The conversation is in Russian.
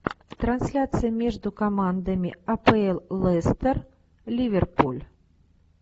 трансляция между командами апл лестер ливерпуль